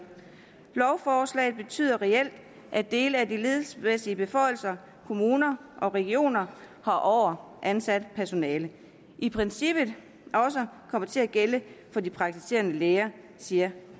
lovforslaget betyder reelt at dele af de ledelsesmæssige beføjelser kommuner og regioner har over ansat personale i princippet også kommer til at gælde for de praktiserende læger siger